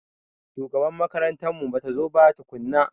Shugaban makarantar mu batazo ba tukunna.